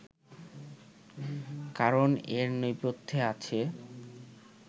কারণ এর নেপথ্যে আছে